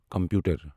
computer